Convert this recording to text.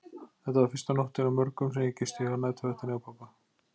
Þetta var fyrsta nóttin af mörgum sem ég gisti á næturvaktinni hjá pabba.